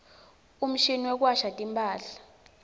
umshini wekuwasha timphahla